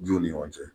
Juw ni ɲɔgɔn cɛ